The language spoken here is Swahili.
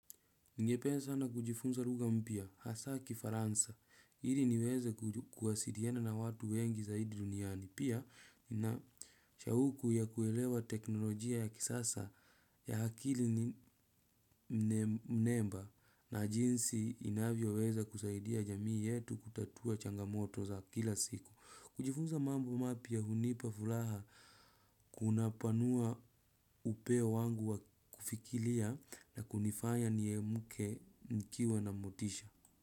Ningependa sana kujifunza lugha mpya, hasa kifaransa, ili niweze kuwasiliana na watu wengi zaidi duniani. Pia ninashauku ya kuelewa teknolojia ya kisasa ya akili nema. Na jinsi inavyoweza kusaidia jamii yetu kutatua changamoto za kila siku. Kujifunza mambo mapya hunipa furaha. Kuna panua upeo wangu wa kufikiria na kunifanya niamke nikiwa na mutisha.